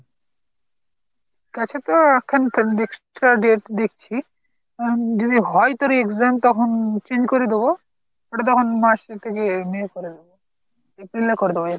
কাছে তো এখন দেখছি এখন যদি হয় তোর exam তখন change করে দেব ওটা তখন March এর থেকে May করে দেব, April এ করে দেব।